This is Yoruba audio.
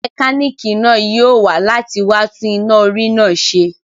Mẹkánìkì náà yóò wá láti wá tún iná orí náà ṣe